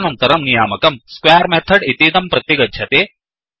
तदनन्तरं नियामकं square method इतीदं प्रति गच्छति